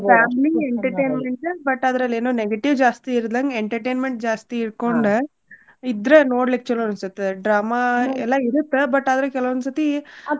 Family entertainment but ಅದ್ರಲ್ಲಿ ಏನು negative ಜಾಸ್ತಿ ಇರ್ಲದಂಗ entertainment ಜಾಸ್ತಿ ಇಟ್ಕೊಂಡ ಇದ್ರ ನೋಡ್ಲಿಕ್ಕ್ ಚೊಲೋ ಅನ್ಸುತ್ತೆ drama ಎಲ್ಲಾ ಇರುತ್ತ but ಆದ್ರು ಕೆಲವೊಂದ್ಸರ್ತಿ.